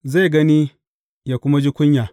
Zai gani, yă kuma ji kunya.